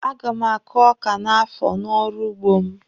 A ga m akụ ọ́kà n'afọ n'ọrụ ugbo m.